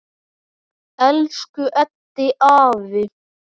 Elsku Eddi afi.